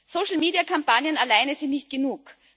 Social Media Kampagnen alleine sind nicht genug.